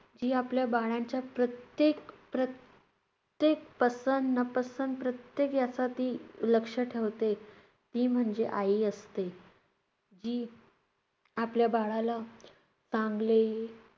जी आपल्या बाळाच्या प्रत्येक~ प्र~ त्येक पसंत-नापसंत प्रत्येक याचा ती लक्ष ठेवते, ती म्हणजे आई असते. जी आपल्या बाळाला चांगले हे~